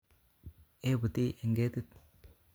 E'buti en ketit